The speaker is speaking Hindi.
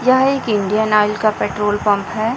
यह एक इंडियन ऑयल का पेट्रोल पंप हैं।